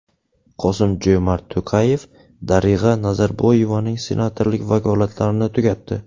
Qosim-Jo‘mart To‘qayev Darig‘a Nazarboyevaning senatorlik vakolatlarini tugatdi.